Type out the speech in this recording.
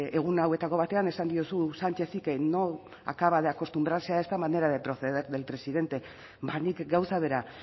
egun hauetako batean esan diozu sánchezi que no acaba de acostumbrarse a esta manera de proceder del presidente ba nik gauza bera